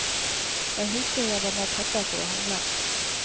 Jeg husker jeg var med pappa for å handle.